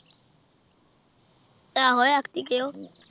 ਆਹੋ ਐਤਕੀਂ ਕਹਿਓ